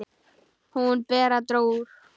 Hún, Bera, dró úr.